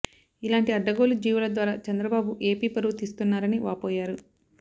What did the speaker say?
ఇలాంటి అడ్డగోలు జీవోల ద్వారా చంద్రబాబు ఏపీ పరువు తీస్తున్నారని వాపోయారు